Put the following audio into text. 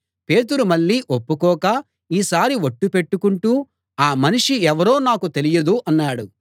పేతురు మళ్ళీ ఒప్పుకోక ఈసారి ఒట్టు పెట్టుకుంటూ ఆ మనిషి ఎవరో నాకు తెలియదు అన్నాడు